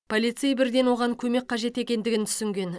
полицей бірден оған көмек қажет екендігін түсінген